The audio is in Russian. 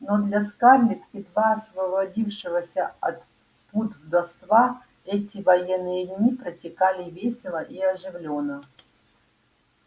но для скарлетт едва освободившегося от пут вдовства эти военные дни протекали весело и оживлённо